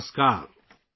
نمسکار !